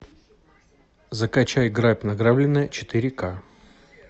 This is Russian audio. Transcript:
закачай грабь награбленное четыре ка